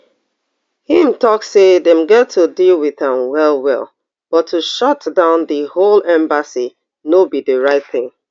im tok say dem get to deal wit am well well but to shutdown di whole embassy no be di right tin